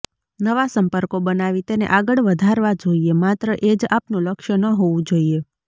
નવા સંપર્કો બનાવી તેને આગળ વધારવા જોઈએ માત્ર એજ આપનું લક્ષ્ય ન હોવું જોઈએ